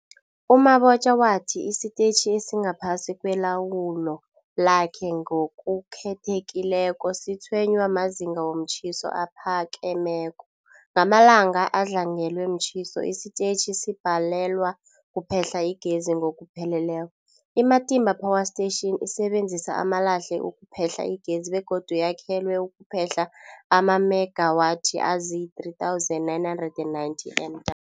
U-Mabotja wathi isitetjhi esingaphasi kwelawulo lakhe, ngokukhethekileko, sitshwenywa mazinga womtjhiso aphakemeko. Ngamalanga adlangelwe mtjhiso, isitetjhi sibhalelwa kuphehla igezi ngokupheleleko. I-Matimba Power Station isebenzisa amalahle ukuphehla igezi begodu yakhelwe ukuphehla amamegawathi azii-3990 M